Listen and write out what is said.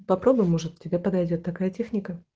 попробуй может тебе подойдёт такая техника